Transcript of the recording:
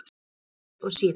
Sama lið og síðast?